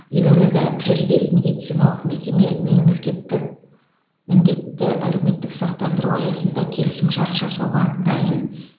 елордада жүз бес медициналық мекеме мемлекеттік міндетті әлеуметтік сақтандыру аясында келісімшарт жасауға дайын